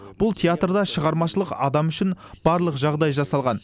бұл театрда шығармашыл адам үшін барлық жағдай жасалған